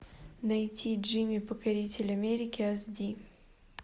найти джимми покоритель америки ас ди